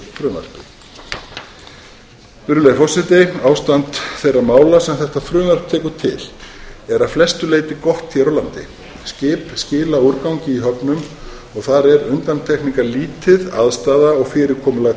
frumvarpi virðulegur forseti ástand þeirra mála sem þetta frumvarp tekur til er að flestu leyti gott hér á landi skip skila úrgangi í höfnum og þar er undantekningarlítið aðstaða og fyrirkomulag